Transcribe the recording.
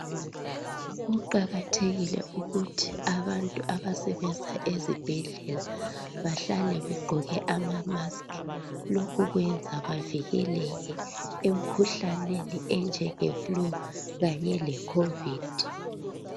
Kuqakathekile ukuthi abantu abasebenza ezibhedlela bahlale begqoke ama"mask".Lokho kwenza bavikeleke emkhuhlaneni enjenge "flu' kanye le COVID.